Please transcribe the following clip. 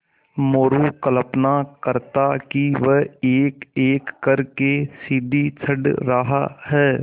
मोरू कल्पना करता कि वह एकएक कर के सीढ़ी चढ़ रहा है